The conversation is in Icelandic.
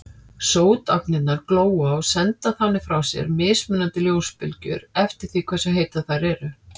Sótagnirnar glóa og senda þannig frá sér mismunandi ljósbylgjur eftir því hversu heitar þær eru.